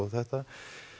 þetta